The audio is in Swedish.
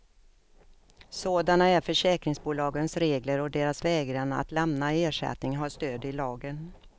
Sådana är försäkringsbolagens regler och deras vägran att lämna ersättning har stöd i lagen.